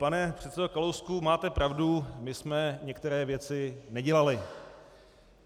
Pane předsedo Kalousku, máte pravdu, my jsme některé věci nedělali.